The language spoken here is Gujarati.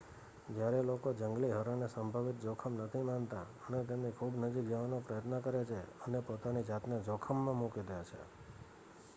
જયારે લોકો જંગલી હરણને સંભવિત જોખમ નથી માનતા અને તેમની ખુબ નજીક જવાનો પ્રયત્ન કરે છે અને પોતાની જાતને જોખમમાં મૂકે દે છે